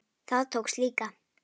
Það tókst líka.